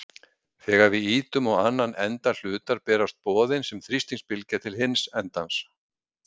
Þegar við ýtum á annan enda hlutar berast boðin sem þrýstingsbylgja til hins endans.